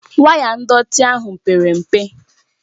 Waya ndọtị ahụ pere mpe